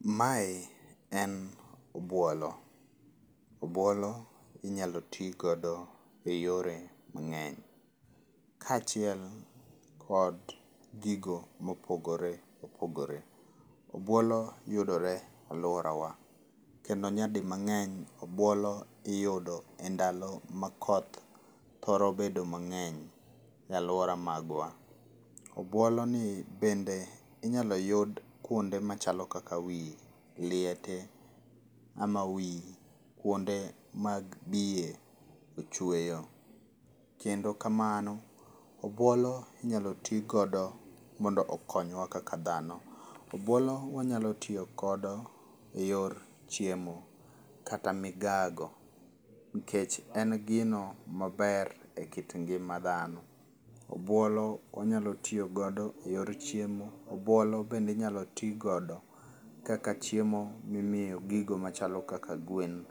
Mae en obuolo. Obuolo inyalo ti godo eyore mang'eny. Kaachiel kod gigo mopogore opogore. Obuolo yudore e aluorawa kendo nyadimang'eny obuolo iyudo endalo ma koth thoro bedo mang'eny e aluora magwa. Obuoloni bende inyalo yud kuonde machalo kaka wi liete ama wi kuonde mag biye ochweyo. Kendo kamano, obuolo inyalo ti godo mondo okonywa kaka dhano. Obuolo wanyalo tiyo godo eyor chiemo kata migago nikech en gino maber ekit ngima dhano. Obuolo wanyalo tiyo godo eyor chiemo, obuolo bende inyalo ti godo kaka chiemo mimiyo gigo machalo kaka gwen.